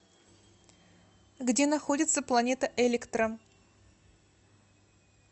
где находится планета электро